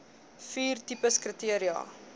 vier tipes kriteria